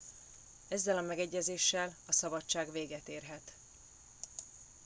ezzel a megegyezéssel a szabadság véget érhet